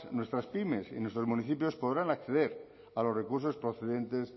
nuestras pymes y nuestros municipios podrán acceder a los recursos procedentes